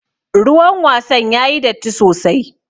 Ruwan wasan yayi datti sosai.